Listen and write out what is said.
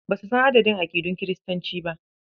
Ba su san adadin aƙidun Kiristanci ba.